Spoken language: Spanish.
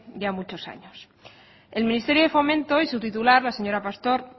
ya muchos años el ministerio de fomento y su titular la señora pastor